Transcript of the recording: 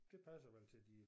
Det passer vel til de